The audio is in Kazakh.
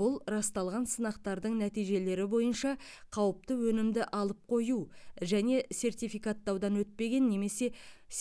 бұл расталған сынақтардың нәтижелері бойынша қауіпті өнімді алып қою және сертификаттаудан өтпеген немесе